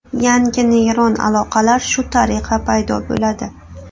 Yangi neyron aloqalar shu tariqa paydo bo‘ladi.